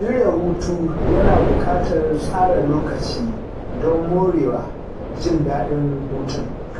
Shirya hutu yana buƙatar tsara lokaci don morewa jin daɗin hutun.